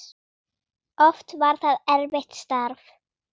Oft var það erfitt starf.